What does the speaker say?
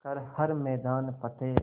कर हर मैदान फ़तेह